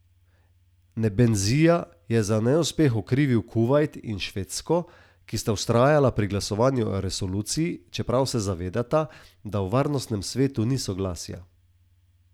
Nebenzija je za neuspeh okrivil Kuvajt in Švedsko, ki sta vztrajala pri glasovanju o resoluciji, čeprav se zavedata, da v Varnostnem svetu ni soglasja.